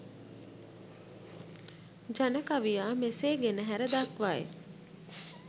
ජන කවියා මෙසේ ගෙනහැර දක්වයි.